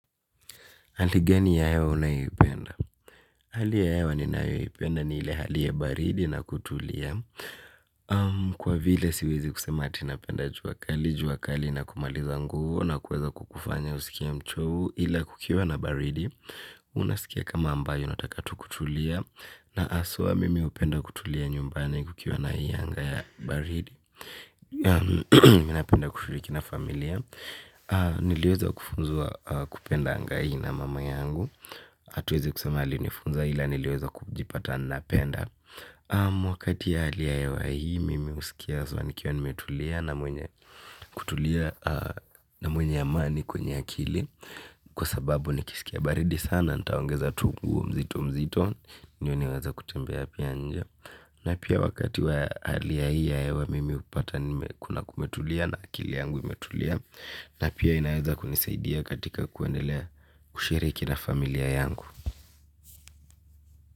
Hali gani ya hewa unayoipenda? Hali ya hewa ninayoipenda ni ile hali ya baridi na kutulia. Kwa vile siwezi kusema ati napenda jua kali, jua kali inakumaliza nguvu na kuweza kukufanya usikie mchovu, ila kukiwa na baridi. Unasikia kama ambaye unataka tu kutulia. Na haswa mimi hupenda kutulia nyumbani kukiwa na hii anga ya baridi. Mi napenda kushiriki na familia. Niliweza kufunzwa kupenda anga hii na mama yangu. Hatuwezi kusema alinifunza ila niliweza kujipata napenda. Mwakati ya hali ya hewa, hii mimi husikia haswa nikiwa nimetulia na mwenye kutulia na mwenye amani kwenye akili kwa sababu nikisikia baridi sana nitaongeza tu nguo mzito mzito ndio niweze kutembea pia nje. Na pia wakati wa hali ya hii ya hewa mimi hupata ni kuna kumetulia na akili yangu imetulia. Na pia inaweza kunisaidia katika kuendelea kushiriki na familia yangu.